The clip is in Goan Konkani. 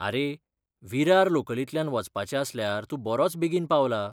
आरे, विरार लोकलींतल्यान वचपाचें आसल्यार तूं बरोच बेगीन पावला.